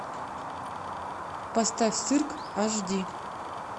поставь цирк аш ди